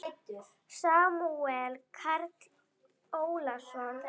Samúel Karl Ólason.